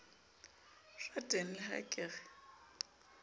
rateng le ha ke re